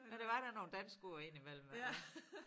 Men der var da nogle danske ord indimellem også